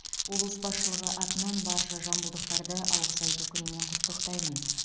облыс басшылығы атынан барша жамбылдықтарды алғыс айту күнімен құттықтаймын